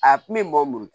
A kun be mɔɔ bolo